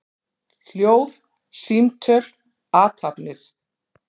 Hljóð, símtöl, athafnir.